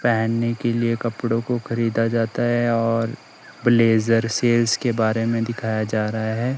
पहनने के लिए कपड़ों को खरीदा जाता है और ब्लेजर सेल्स के बारे में दिखाया जा रहा है।